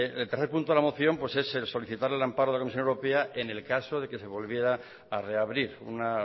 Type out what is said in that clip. el tercer punto de la moción pues es el solicitar el amparo de la comisión europea en el caso de que se volviera a reabrir un